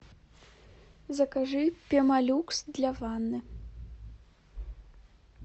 закажи пемолюкс для ванны